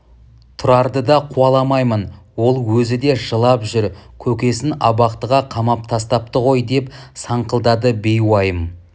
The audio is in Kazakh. тұрарды да қуаламаймын ол өзі де жылап жүр көкесін абақтыға қамап тастапты ғой деп саңқылдады бейуайым